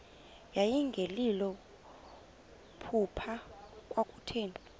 yayingelilo phupha kwakutheni